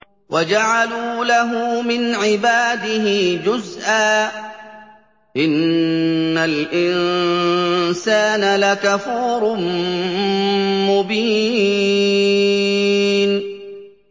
وَجَعَلُوا لَهُ مِنْ عِبَادِهِ جُزْءًا ۚ إِنَّ الْإِنسَانَ لَكَفُورٌ مُّبِينٌ